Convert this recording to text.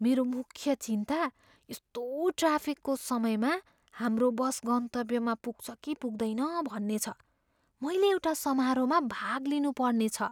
मेरो मुख्य चिन्ता यस्तो ट्राफिकको समयमा हाम्रो बस गन्तव्यमा पुग्छ कि पुग्दैन भन्ने छ, मैले एउटा समारोहमा भाग लिनुपर्ने छ।